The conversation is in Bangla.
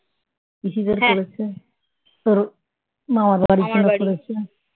পিসিদের করেছে তোর মামার বাড়ির জন্য করেছে